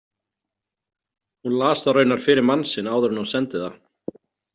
Hún las það raunar fyrir mann sinn áður en hún sendi það.